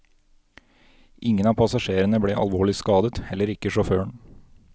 Ingen av passasjerene ble alvorlig skadet, heller ikke sjåføren.